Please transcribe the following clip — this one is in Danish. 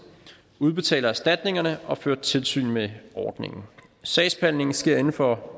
udbetaler erstatningerne og fører tilsyn med ordningen sagsbehandlingen sker inden for